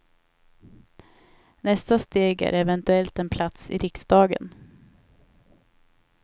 Nästa steg är eventuellt en plats i riksdagen.